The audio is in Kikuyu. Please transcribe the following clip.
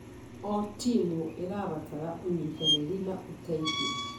O timu ĩrabatara ũnyitanĩri na ũteithio.